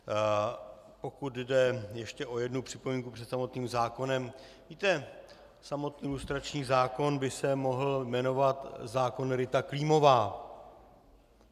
Pokud jde ještě o jednu připomínku před samotným zákonem, víte, samotný lustrační zákon by se mohl jmenovat zákon Rita Klímová.